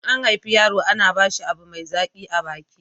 in an haife yaro ana ba shi abu mai zaƙi a baki